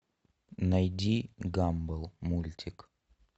найди гамбл мультик